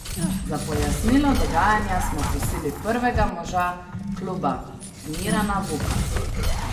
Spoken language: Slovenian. Za pojasnilo dogajanja smo prosili prvega moža kluba Mirana Vuka.